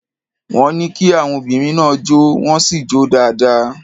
Wọ́n ní kí àwon obìnrin náà jó, wọ́n sì jó dáadáa.